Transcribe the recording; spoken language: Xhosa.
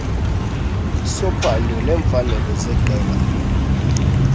sophando neemfanelo zeqela